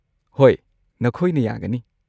ꯍꯣꯏ, ꯅꯈꯣꯏꯅ ꯌꯥꯒꯅꯤ꯫